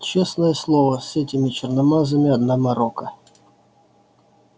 честное слово с этими черномазыми одна морока